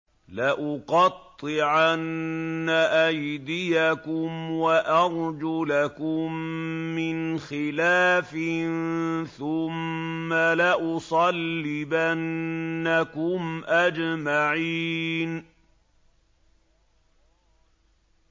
لَأُقَطِّعَنَّ أَيْدِيَكُمْ وَأَرْجُلَكُم مِّنْ خِلَافٍ ثُمَّ لَأُصَلِّبَنَّكُمْ أَجْمَعِينَ